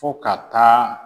Fo ka taa.